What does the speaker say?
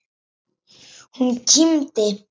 Hún kímdi.